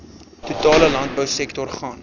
totale landbousektor gaan